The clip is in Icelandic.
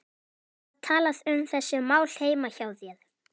Var talað um þessi mál heima hjá þér?